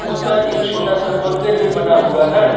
उस पर एक छोटा सा मंदिर भी बना हुआ है।